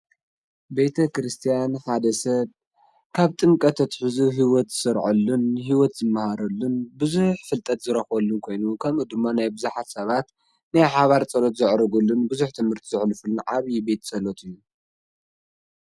ቤተ ክርስትያን ሓደ ሰብ ካብ ጥምቀቱ ኣትሕዙ ሂወት ዝሰርዐሉን ሂወት ዝመሃረሉን ቡዙሕ ፍልጠት ዝረክበሉን ኮይኑ ከምኡ ድማ ናይ ቡዙሓት ሰባት ናይ ሓባር ጸሎት ዘዕርጉሉን ቡዙሕ ትምህርቲ ዘሕልፉሉ ዓብይ ቤት ጸሎት እዩ።